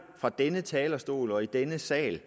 fra denne talerstol og i denne sal